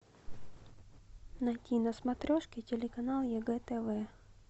найти на смотрешке телеканал егэ тв